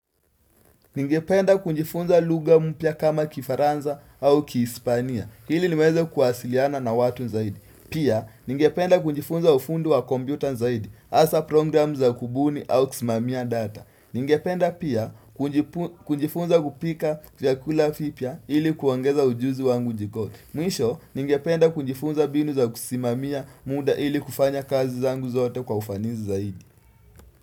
Ningependa kunjifunza lugha mpya kama kifaranza au kihisipania, ili niweze kuwasiliana na watu zaidi. Pia, ningependa kunjifunza ufundi wa kompyuta nzaidi, asa program za kubuni au kusimamia data. Ningependa pia kujifunza kupika vyakula vipya ili kuongeza ujuzi wangu jikoni. Mwisho, ningependa kujifunza mbinu za kusimamia muda ili kufanya kazi zangu zote kwa ufanisi zaidi.